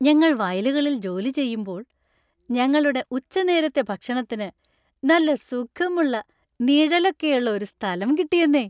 ഞങ്ങൾ വയലുകളിൽ ജോലി ചെയ്യുമ്പോൾ ഞങ്ങളുടെ ഉച്ചനേരത്തെ ഭക്ഷണത്തിന് നല്ല സുഖമുള്ള നിഴലൊക്കെയുള്ള ഒരു സ്ഥലം കിട്ടിയെന്നേ!